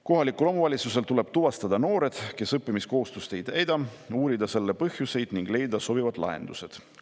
Kohalikul omavalitsusel tuleb tuvastada noored, kes õppimiskohustust ei täida, uurida selle põhjuseid ning leida sobivad lahendused.